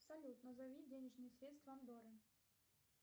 салют назови денежные средства андоры